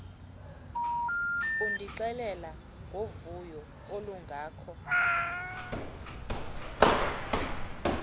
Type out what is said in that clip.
undixelela ngovuyo olungako